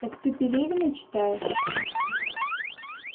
так ты пелевина читаешь